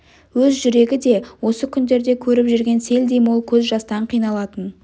өз жүрегі де осы күндерде көріп жүрген селдей мол көз жастан қиналатын